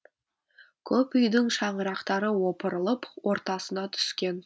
көп үйдің шаңырақтары опырылып ортасына түскен